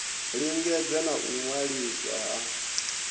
lingedza na u waliswa ha